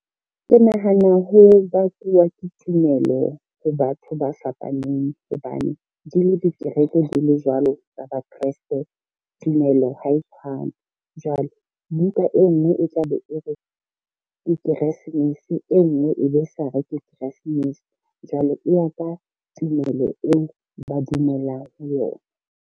Ke nahana ho bakuwa ke tumelo ho batho ba fapaneng hobane, di le dikereke di le jwalo tsa ba kresete tumelo ha e tshwane. Jwale buka e ngwe e tla be e re ke keresmese e ngwe e be sa re ke keresmese. Jwale e ya ka tumelo eo ba dumelang ho yona.